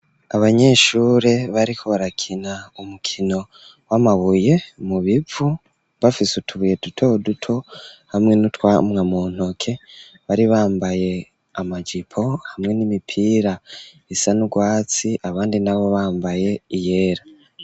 Abanyeshure, bariko barakina, umukino w'amabuye mu bivu; bafise utubuye, duto duto, hamwe n'utwamwa, mu ntoke, bari bambaye amajipo, hamwe n'imipira, isa n'urwatsi, abandi nabo, bambaye iyera.